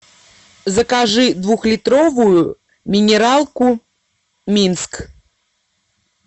закажи двухлитровую минералку минск